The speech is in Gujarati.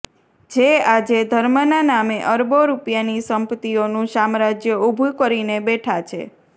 જે આજે ધર્મના નામે અરબો રૂપિયાની સંપત્તિઓનું સામ્રાજ્ય ઉભું કરીને બેઠા છે